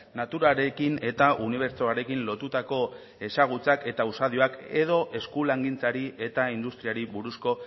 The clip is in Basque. naturarekin eta unibertsoarekin lotutako ezagutzak eta usadioak edo eskulangintzari eta industriari buruzko